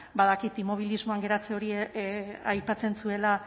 badakit immobilismoan geratze hori aipatzen zuela